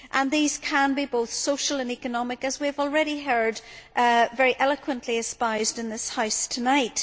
These can be both social and economic, as we have already heard very eloquently espoused in this House tonight.